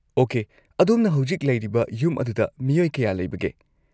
Okay, ꯑꯗꯣꯝꯅ ꯍꯧꯖꯤꯛ ꯂꯩꯔꯤꯕ ꯌꯨꯝ ꯑꯗꯨꯗ ꯃꯤꯑꯣꯏ ꯀꯌꯥ ꯂꯩꯕꯒꯦ?